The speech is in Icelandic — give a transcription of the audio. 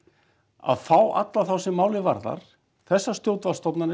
að fá alla þá sem málið varðar þessar